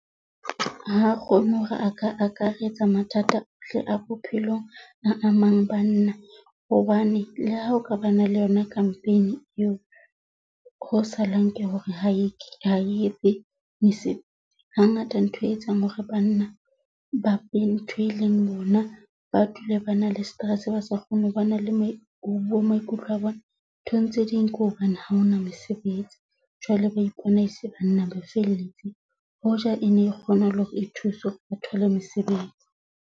Ha kgone hore a ka akaretsa mathata ohle a bophelong a mang banna, hobane le ha o ka ba na le yona campaign eo, ho salang ke hore ha e etse ha ngata ntho e etsang hore banna ba ntho e leng bona, ba dule ba na le stress, ba sa kgone ho ba na le ho bua maikutlo a bona. Ntho tse ding, ke hobane ha hona mesebetsi. Jwale ba ipona e se banna, ba felletseng hoja e ne kgona hore e thuse hore ba thole mosebetsi.